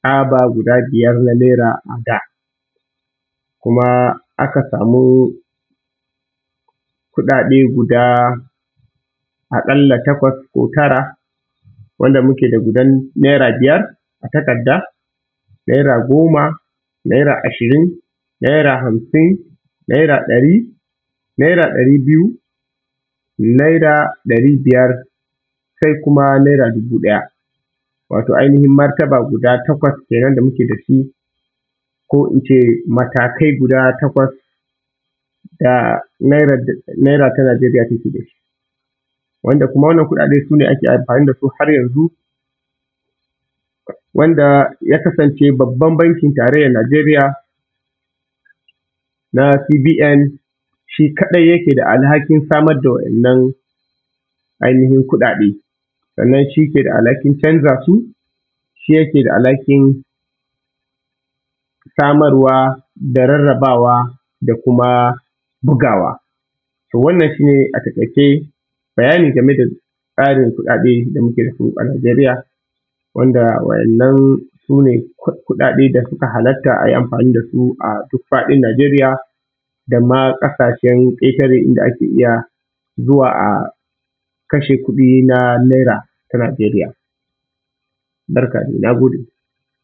tsaba guda biyar na Naira a da Kuma aka samu kuɗaɗe guda a ƙalla takwas ko tara, wanda muke da gudan Naira biyar, na takarda, Naira goma, Naira ashirin, Naira Hamsin, Naira ɗari, Naira ɗari biyu, Naira ɗari biyar, sai kuma Naira dubu ɗaya. Wato ainihin martaba guda takwas kenan da muke da su ko in ce matakai guda takwas, da Nairar Nigeria take da shi. Wanda kuma waɗannan kuɗaɗe su ne ake amfani da su har yanzu, wanda ya kasance babban bankin tarayyar Nigeria na CBN shi kaɗai yake da alhakin samar da waɗannan ainihin kuɗaɗe, sannan shi ke da alhakin canza su, shi yake da alhakin samarwa da rarrabawa da kuma bugawa. To wannan shi ne a taƙaice, bayani game da tsarin kuɗaɗe da muke da su a Nigeria, waɗanda waɗannan su ne kuɗaɗe da suka halatta a yi amfani da su a duk faɗin Nigeria da ma ƙasashen ƙetare, inda ake iya zuwa, a kashe kuɗi na Naira ta Nigeria. Na gode.